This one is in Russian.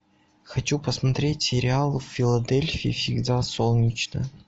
хочу посмотреть сериал в филадельфии всегда солнечно